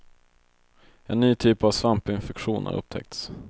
En ny typ av svampinfektion har upptäckts.